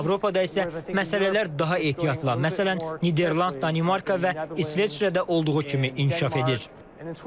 Avropada isə məsələlər daha ehtiyatla, məsələn, Niderland, Danimarka və İsveçrə də olduğu kimi inkişaf edir.